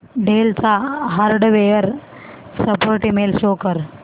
del चा hardware support email show कर